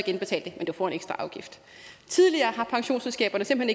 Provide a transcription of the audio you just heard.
indbetale men du får en ekstra afgift tidligere har pensionsselskaberne simpelt